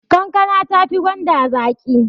Kankana tafi gwanda zaƙi